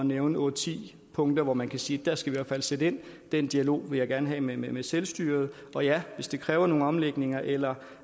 nævne otte ti punkter hvorom man kan sige at der skal vi i hvert fald sætte ind den dialog vil jeg gerne have med med selvstyret og ja hvis det kræver nogle omlægninger eller